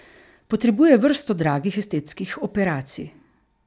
Potrebuje vrsto dragih estetskih operacij.